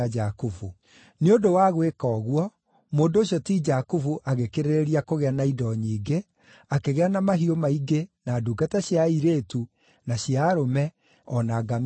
Nĩ ũndũ wa gwĩka ũguo, mũndũ ũcio ti Jakubu agĩkĩrĩrĩria kũgĩa na indo nyingĩ, akĩgĩa na mahiũ maingĩ, na ndungata cia airĩtu na cia arũme, o na ngamĩĩra na ndigiri.